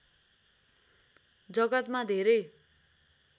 जगतमा धेरै